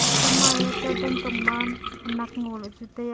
ekhan maye chat dan tong ma khanak ngo la chu taiya.